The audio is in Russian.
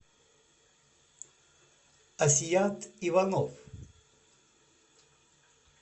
асият иванов